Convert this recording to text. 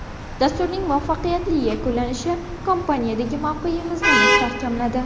Dasturning muvaffaqiyatli yakunlanishi kompaniyadagi mavqeyimizni mustahkamladi.